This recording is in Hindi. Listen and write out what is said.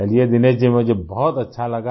चलिए दिनेश जी मुझे बहुत अच्छा लगा